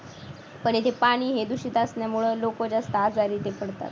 पण येथे पाणी हे दूषित असल्यामुळे लोक जास्त आजारी पडतात.